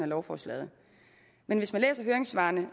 lovforslaget men hvis man læser høringssvarene